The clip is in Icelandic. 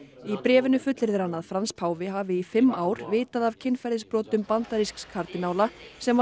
í bréfinu fullyrðir hann að Frans páfi hafi í fimm ár vitað af kynferðisbrotum bandarísks kardínála sem var